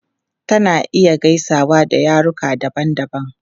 Tana iya gaisawa da yaruka daban-daban.